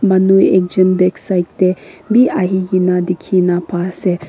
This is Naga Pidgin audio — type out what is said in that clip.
manu ekjon backside teh bhi ahi ke na dikhi na pai ase.